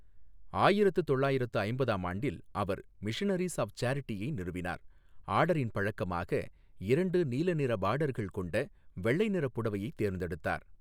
ஆயிரத்து தொள்ளாயிரத்து ஐம்பதாம் ஆண்டில், அவர் மிஷனரீஸ் ஆஃப் சேரிட்டியை நிறுவினார், ஆர்டரின் பழக்கமாக இரண்டு நீல நிற பார்டர்கள் கொண்ட வெள்ளை நிற புடவையைத் தேர்ந்தெடுத்தார்.